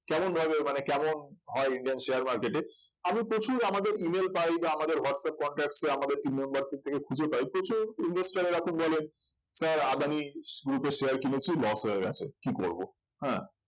কেমন ভাবে মানে কেমন হয় indian share marketing আমি প্রচুর আমাদের email পাই বা আমাদের whatsapp contacts এ আমাদের team membars দের থেকে খুঁজে পাই প্রচুর investor রা এরকম বলেন sir আদানি group এর share কিনেছি loss হয়ে গেছে কি করব হ্যাঁ